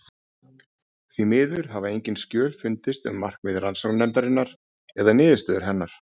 Því miður hafa engin skjöl fundist um markmið rannsóknarnefndarinnar eða niðurstöður hennar.